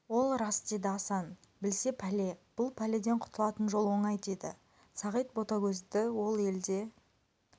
ол рас деді асан білсе пәле бұл пәледен құтылатын жол оңай деді сағит ботагөзді ол елде